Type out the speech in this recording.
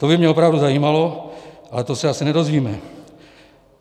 To by mě opravdu zajímalo, ale to se asi nedozvíme.